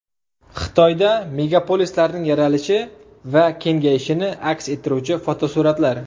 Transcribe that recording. Xitoyda megapolislarning yaralishi va kengayishini aks ettiruvchi fotosuratlar.